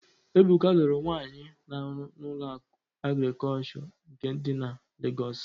Ebuka lụrụ nwaanyị na-arụ na Ụlọakụ Agrịkọlshọ nke dị na Legọs.